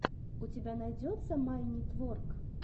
у тебя найдется майнитворк